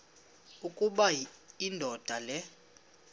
ukuba indoda le